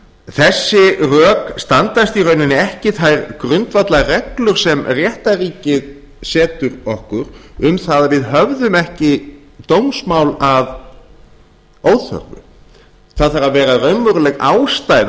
þessi rök standast í rauninni ekki þær grundvallarreglur sem réttarríkið setur okkur um það að við höfðum ekki dómsmál að óþörfu það þarf að vera raunveruleg ástæða